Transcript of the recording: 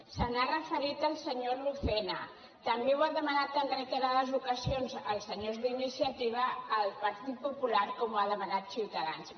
s’hi ha referit el senyor lucena també ho han demanat en reiterades ocasions els senyors d’iniciativa el partit popular com ho ha demanat ciutadans